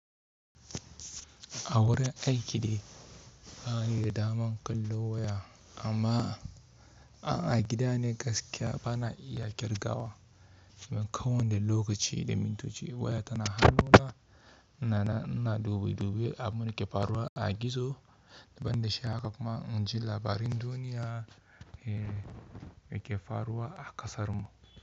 A wurin aiki ne bani da daman kallo waya amma a gida ne gaskiya bana iya kirgawa. Ba ko wane lokaci da mintoci waya tana hannuna na na dubi dubi ab mu ke faruwa a gizo, ban da shi haka kuma in ji labarin duniya eh da ke faruwa a kasar mu.